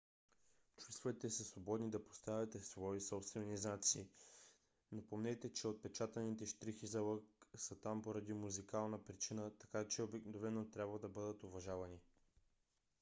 чувствайте се свободни да поставяте свои собствени знаци но помнете че отпечатаните щрихи за лък са там поради музикална причина така че обикновено трябва да бъдат уважавани